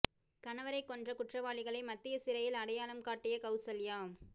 கணவரை கொன்ற குற்றவாளிகளை மத்திய சிறையில் அடையாளம் காட்டிய கவுசல்யா